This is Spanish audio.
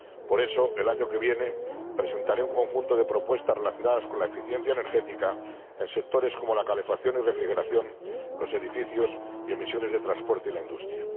Por eso, el año que viene, presentaré un conjunto de propuestas relacionadas con la eficiencia energética en sectores como la calefacción y refrigeración, los edificios y las emisiones de transporte y de la industria.